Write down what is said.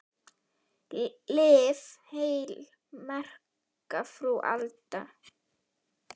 Lif heil, merka frú Alda.